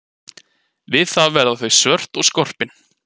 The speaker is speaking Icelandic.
Við það verða þau svört og skorpin.